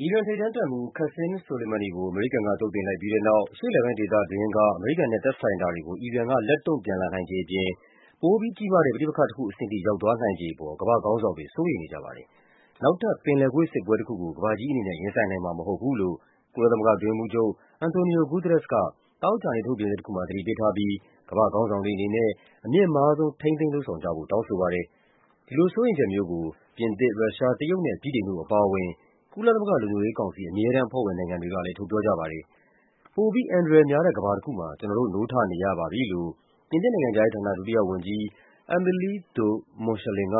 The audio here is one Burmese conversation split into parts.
အီရန်ထိပ်တန်းတပ်မှူး Qassim Soleimani ကို အမေရိကန်က သုတ်သင်လိုက်ပြီးတဲ့နောက် အရှေ့အလယ်ပိုင်းဒေသတွင်းက အမေရိကန်နဲ့သက်ဆိုင်တာတွေကို အီရန်က လက်တုံံ့ပြန်လာနိုင်ခြေအပြင် ပိုပြီးကြီးမားတဲ့ ပဋိပက္ခတခုအဆင့်ထိ ရောက်သွားနိုင်ချေအပေါ် ကမ္ဘာ့ခေါင်းဆောင်တွေ စိုးရိမ်နေကြပါတယ်။ နောက်ထပ် ပင်လယ်ကွေ့စစ်ပွဲတခုကို ကမ္ဘာကြီးအနေနဲ့ ရင်ဆိုင်နိုင်မှာမဟုတ်ဘူးလို့ ကုလသမဂ္ဂအတွင်းရေးမှူးချုပ် Antonio Guterres က သောကြာနေ့ ထုတ်ပြန်ချက်တခုမှာ သတိပေးထားပြီး ကမ္ဘာ့ခေါင်းဆောင်တွေအနေနဲ့ အမြင့်မားဆုံး ထိန်းသိမ်း လုပ်ဆောင်ကြဖို့ တောင်းဆိုပါတယ်။ ဒီလိုစိုးရိမ်ချက်မျိုးကို ပြင်သစ်၊ ရုရှား၊ တရုတ်နဲ့ ဗြိတိန်တို့အပါအဝင် ကုလသမဂ္ဂလုံခြုံရေးကောင်စီ အမြဲတမ်းအဖွဲ့ဝင်နိုင်ငံတွေက လည်း ထုတ်ပြောကြပါတယ်။ ပိုပြီး အန္တရာယ်များတဲ့ ကမ္ဘာတခုမှာ ကျနော်တို့ နိုးထနေရပါပြီလို့ ပြင်သစ်နိုင်ငံခြားရေးဌာန ဒုတိယဝန်ကြီး Amelie de Montchalin က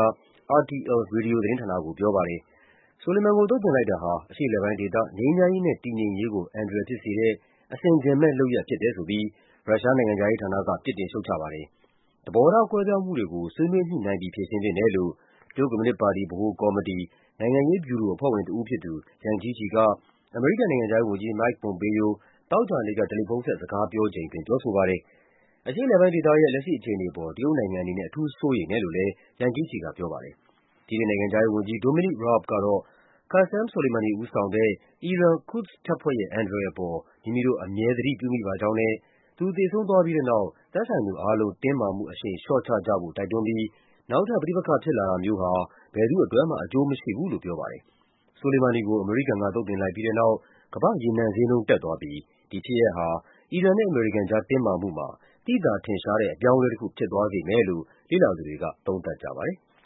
RTL ရေဒီယိုသတင်းဌာနကို ပြောပါတယ်။ Soleiman ကို သုတ်သင်လိုက်တာဟာ အရှေ့အလယ်ပိုင်းဒေသ ငြိမ်းချမ်းရေးနဲ့ တည်ငြိမ်ရေးကို အန္တရာယ်ဖြစ်စေတဲ့ အဆင်ခြင် မဲ့လုပ်ရပ်ဖြစ်တယ်ဆိုပြီး ရုရှားနိုင်ငံခြားရေးဌာနက ပြစ်တင်ရှုတ်ချပါတယ်။ သဘောထားကွဲပြားမှုတွေကို ဆွေးနွေးညှိနှိုင်းပြီး ဖြေရှင်းသင့်တယ်လို့ တရုတ်ကွန်မြူနစ်ပါတီ (CPC) ဗဟိုကော်မတီ၊ နိုင်ငံရေး ဗျူရိုအဖွဲ့ဝင်တဦးဖြစ်သူ Yang Jiechi က အမေရိကန်နိုင်ငံခြားရေးဝန်ကြီး Mike Pompeo သောကြာနေ့က တယ်လီဖုန်းဆက် စကားပြောချိန်အတွင်း ပြောဆိုပါတယ်။ အရှေ့အလယ်ပိုင်းဒေသရဲ့ လက်ရှိအခြေအနေအပေါ် တရုတ်နိုင်ငံအနေနဲ့ အထူးစိုးရိမ် တယ်လို့လည်း Yang Jiechi ကပြောပါတယ်။ ဗြိတိန်နိုင်ငံခြားရေးဝန်ကြီး Donimic Raab ကတော့ Qasem Soleimani ဦးဆောင်တဲ့ အီရန် Quds တပ်ဖွဲ့ရဲ့ အန္တရာယ်အပေါ် မိမိတို့ အမြဲ သတိပြုမိပါကြောင်းနဲ့ သူသေဆုံးသွားပြီးတဲ့နောက် သက်ဆိုင်သူအားလုံး တင်းမာမှုအရှိန်လျှော့ချကြဖို့ တိုက်တွန်းပြီး နောက်ထပ်ပဋိပက္ခဖြစ်လာတာမျိုးဟာ ဘယ်သူ့အတွက်မှ အကျိုးမရှိဘူးလို့ပြောပါတယ်။ Soleimani ကို အမေရိကန်က သုတ်သင်လိုက်ပြီးတဲ့နောက် ကမ္ဘာ့ရေနံဈေးနှုန်း တက်သွားပြီး ဒီဖြစ်ရပ်ဟာ အီရန်နဲ့ အမေရိကန် ကြား တင်းမာမှုမှာ သိသာထင်ရှားတဲ့ အပြောင်းအလဲတခု ဖြစ်သွားစေမယ်လို့ လေ့လာသူတွေက သုံးသပ်ကြပါတယ်။